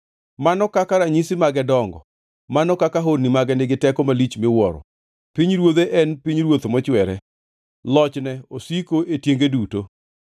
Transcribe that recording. Mano kaka ranyisi mage dongo, mano kaka honni mage nigi teko malich miwuoro! Pinyruodhe en pinyruoth mochwere; loch ne osiko e tienge duto.